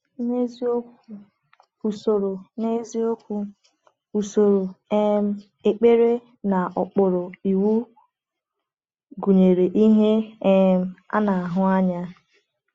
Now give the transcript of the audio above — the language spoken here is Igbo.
N’eziokwu, usoro N’eziokwu, usoro um ekpere n’okpuru Iwu gụnyere ihe um a na-ahụ anya.